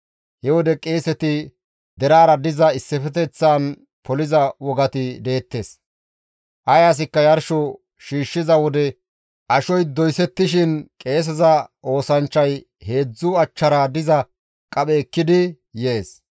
He wode qeeseti deraara diza issifeteththan poliza wogati deettes; ay asikka yarsho shiishshiza wode ashoy doysettishin qeeseza oosanchchay heedzdzu achchara diza qaphe ekkidi yees.